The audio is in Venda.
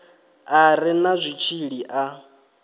a re na zwitshili a